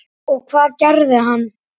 Og hvað gerði hann?